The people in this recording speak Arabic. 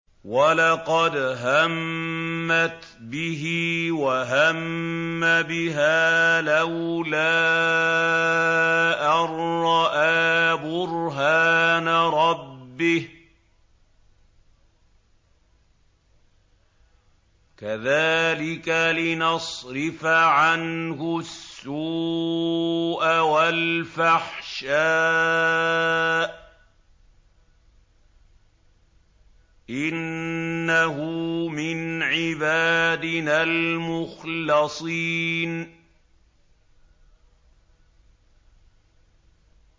وَلَقَدْ هَمَّتْ بِهِ ۖ وَهَمَّ بِهَا لَوْلَا أَن رَّأَىٰ بُرْهَانَ رَبِّهِ ۚ كَذَٰلِكَ لِنَصْرِفَ عَنْهُ السُّوءَ وَالْفَحْشَاءَ ۚ إِنَّهُ مِنْ عِبَادِنَا الْمُخْلَصِينَ